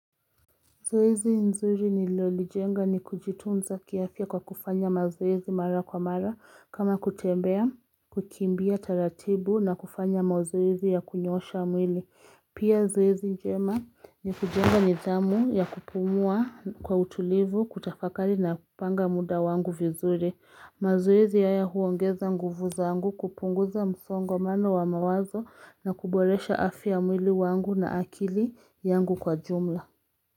Zoezi nzuri nilolijenga ni kujitunza kiafya kwa kufanya mazoezi mara kwa mara kama kutembea kukimbia taratibu na kufanya mazoezi ya kunyosha mwili. Pia zoezi njema ni kujenga nidhamu ya kupumua kwa utulivu kutafakari na kupanga muda wangu vizuri. Mazoezi haya huongeza nguvu zangu kupunguza msongomano wa mawazo na kuboresha afi ya mwili wangu na akili yangu kwa jumla.